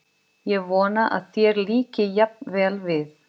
Ég vona að þér líki jafn vel við